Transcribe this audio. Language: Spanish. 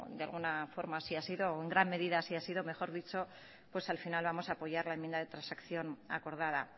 de alguna forma así ha sido en gran medida así ha sido mejor dicho pues al final vamos a apoyar la enmienda de transacción acordada